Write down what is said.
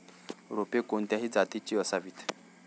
रोपे कोणत्या जातीची असावीत